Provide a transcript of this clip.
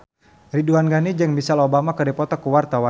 Ridwan Ghani jeung Michelle Obama keur dipoto ku wartawan